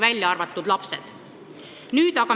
Laste kohta see muidugi ei käi.